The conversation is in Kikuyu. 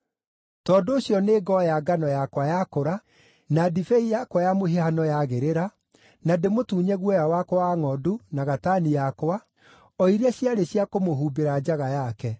“Tondũ ũcio nĩngoya ngano yakwa yakũra, na ndibei yakwa ya mũhihano yagĩrĩra, na ndĩmũtunye guoya wakwa wa ngʼondu na gatani yakwa, o iria ciarĩ cia kũmũhumbĩra njaga yake.